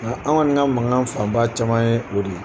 Nga anw kɔni ka mankan fanba caman ye o de ye.